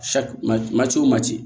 maco ma ci